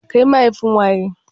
Kai mahaifin waye?